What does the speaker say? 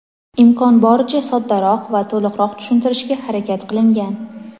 imkon boricha soddaroq va to‘liqroq tushuntirishga harakat qilingan.